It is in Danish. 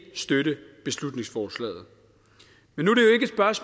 støtte beslutningsforslaget men